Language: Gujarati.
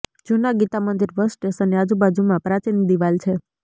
જુના ગીતા મંદિર બસ સ્ટેશનની આજુબાજુમાં પ્રાચીન દિવાલ છે